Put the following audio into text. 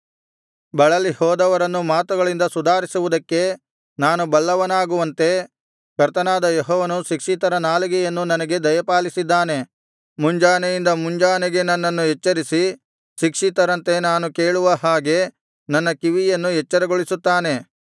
ಬಳಲಿಹೋದವರನ್ನು ಮಾತುಗಳಿಂದ ಸುಧಾರಿಸುವುದಕ್ಕೆ ನಾನು ಬಲ್ಲವನಾಗುವಂತೆ ಕರ್ತನಾದ ಯೆಹೋವನು ಶಿಕ್ಷಿತರ ನಾಲಿಗೆಯನ್ನು ನನಗೆ ದಯಪಾಲಿಸಿದ್ದಾನೆ ಮುಂಜಾನೆಯಿಂದ ಮುಂಜಾನೆಗೆ ನನ್ನನ್ನು ಎಚ್ಚರಿಸಿ ಶಿಕ್ಷಿತರಂತೆ ನಾನು ಕೇಳುವ ಹಾಗೆ ನನ್ನ ಕಿವಿಯನ್ನು ಎಚ್ಚರಗೊಳಿಸುತ್ತಾನೆ